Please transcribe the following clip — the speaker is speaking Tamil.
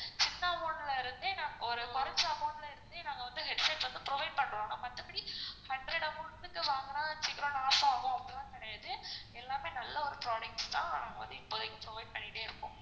கொரச்ச amount ல இருந்தே நாங்க வந்து headset வந்து provide பண்றோம் மத்தபடி hundred amount கிட்ட வாங்குனா சீக்கிரம் loss ஆகும் அப்படிலாம் கிடையாது எல்லாம் நல்ல ஒரு products தான் இப்போதிக்கு provide பண்ணிட்டே இருக்கோம்.